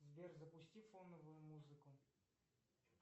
сбер запусти фоновую музыку